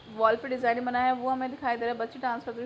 वाल पे डिज़ाइन बना है वो हमे दिखाई दे रहा है बच्चे डांस कर रहे--